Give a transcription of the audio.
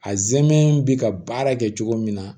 A zɛmɛ bɛ ka baara kɛ cogo min na